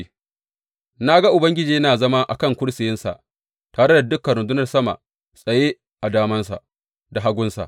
Na ga Ubangiji yana zama a kan kursiyinsa tare da dukan rundunar sama tsaye a damansa da hagunsa.